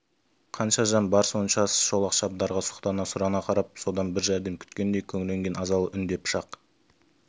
қанша жан бар соншасы шолақ шабдарға сұқтана сұрана қарап содан бір жәрдем күткендей күңіренген азалы үн де пышақ